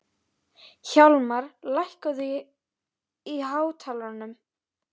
Hjálmar, lækkaðu í hátalaranum.